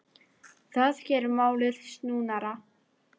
Það geri málið snúnara.